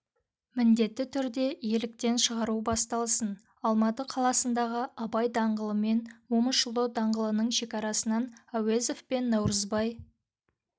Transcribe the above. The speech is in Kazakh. міндетті түрде иеліктен шығару басталсын алматы қаласындағы абай даңғылымен момышұлы даңғылының шекарасынан әуезов пен наурызбай